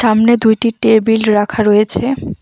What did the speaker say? আমনে দুইটি টেবিল রাখা রয়েছে।